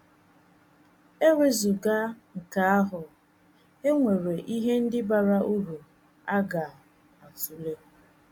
E wezụga nke ahụ, e nwere ihe ndị bara uru a ga - atụle.